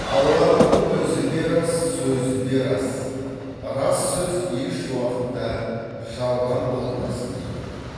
алланың өзі де рас сөзі де рас рас сөз ешуақытта жалған болмас дейді ол